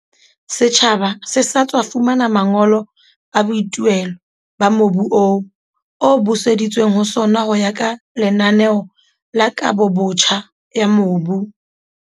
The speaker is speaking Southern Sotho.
Setjhaba se sa tswa fumana mangolo a boithuelo ba mobu oo, o buseditsweng ho sona ho ya ka lenaneo la kabobotjha ya mobu.